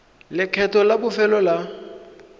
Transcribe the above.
le lekgetho la bofelo la